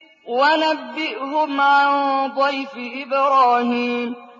وَنَبِّئْهُمْ عَن ضَيْفِ إِبْرَاهِيمَ